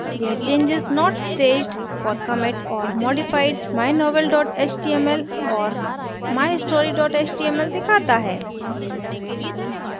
यह changes not staged for commit और modified: mynovel html और mystory html दिखाता है